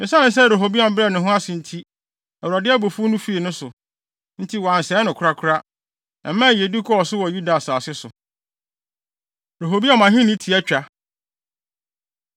Esiane sɛ Rehoboam brɛɛ ne ho ase nti, Awurade abufuw no fii ne so, nti wansɛe no korakora. Ɛmaa yiyedi kɔɔ so wɔ Yuda asase so. Rehoboam Ahenni Tiatwa